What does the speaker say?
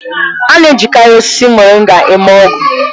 A na-ejikarị osisi Moringa eme ọgwụ.